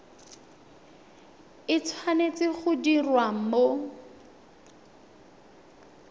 e tshwanetse go diriwa mo